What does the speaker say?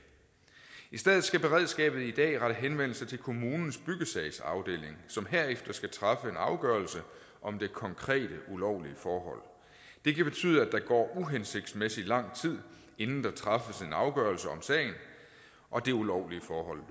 i stedet skal beredskabet i dag rette henvendelse til kommunens byggesagsafdeling som herefter skal træffe en afgørelse om det konkrete ulovlige forhold det kan betyde at der går uhensigtsmæssigt lang tid inden der træffes afgørelse om sagen og det ulovlige forhold